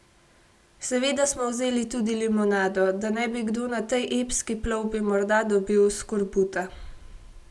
Seveda smo vzeli tudi limonado, da ne bi kdo na tej epski plovbi morda dobil skorbuta.